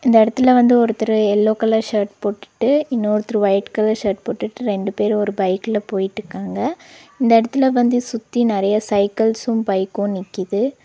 இந்த எடத்துல வந்து ஒருத்தரு எல்லோ கலர் ஷர்ட் போட்டுட்டு இன்னொருத்தர் ஒயிட் கலர் ஷர்ட் போட்டுட்டு ரெண்டு பேரு ஒரு பைக்ல போயிட்டுக்காங்க இந்த எடத்துல வந்து சுத்தி நெறையா சைக்கிள்ஸும் பைக்கு நிக்குது.